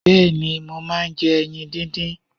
Bẹ́ẹ̀ni, mo máà ń jẹ ẹyin díndín.